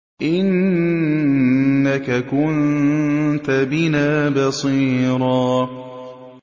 إِنَّكَ كُنتَ بِنَا بَصِيرًا